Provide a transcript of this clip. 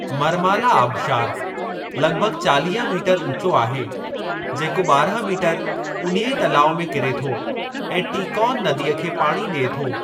मरमाला आबिशारु लॻिभॻि चालीह मीटर ऊचो आहे जेको बारहं मीटर उन्हीअ तलाउ में किरे थो ऐं टीकॉन नदीअ खे पाणी ॾिए थो।